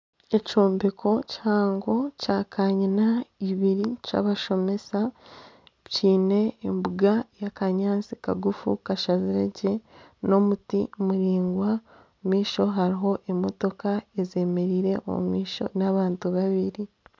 Ekyombeko kihango ekya kaanyina ibiri kyabashomesa kiine embuga y'akanyatsi kagufu kashaziregye n'omuti muraingwa omu maisho hariho emotoka ezemereire omu maisho n'abantu babiri